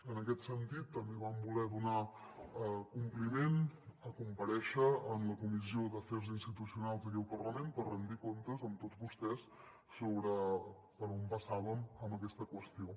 en aquest sentit també vam voler donar compliment a comparèixer en la comissió d’afers institucionals aquí al parlament per rendir comptes amb tots vostès sobre per on passàvem amb aquesta qüestió